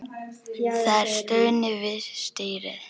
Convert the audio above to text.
Það er stunið við stýrið.